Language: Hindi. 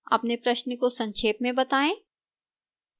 अपने प्रश्न को संक्षेप में बताएं